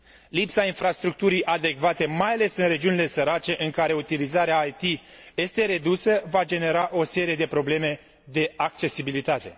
Lipsa infrastructurii adecvate, mai ales în regiunile sărace în care utilizarea IT este redusă, va genera o serie de probleme de accesibilitate.